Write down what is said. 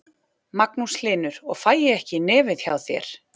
Magnús Hlynur: Og fæ ég ekki í nefið hjá þér?